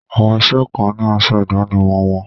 Àwọn iṣẹ́ kan ni asọ ìdánimọ̀ wọn.